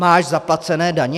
Máš zaplacené daně?